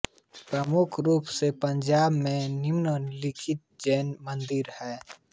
प्रमुख रूप से पंजाब में निम्न लिखित जैन मन्दिर हैं